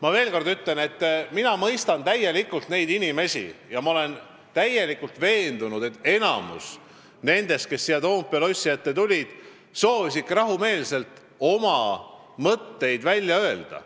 Ma veel kord ütlen, et mina mõistan neid inimesi ja ma olen täielikult veendunud, et enamik nendest, kes siia Toompea lossi ette tulid, soovisidki rahumeelselt oma mõtteid välja öelda.